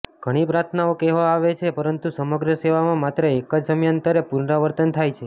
ઘણી પ્રાર્થનાઓ કહેવામાં આવે છે પરંતુ સમગ્ર સેવામાં માત્ર એક જ સમયાંતરે પુનરાવર્તન થાય છે